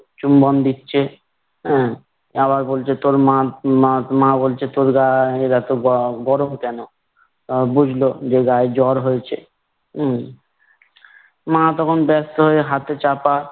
চুম্বন দিচ্ছে। আহ আবার বলছে তোর মা মা মা বলছে তোর গায়ের এতো গ~ গরম কেন? আহ বুঝলো যে গায়ে জ্বর হয়েছে। উম মা তখন ব্যস্ত হয়ে হাতে চাপা